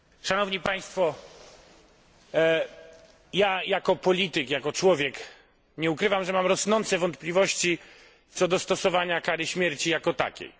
Ja jako polityk, jako człowiek nie ukrywam, że mam rosnące wątpliwości co do stosowania kary śmierci jako takiej.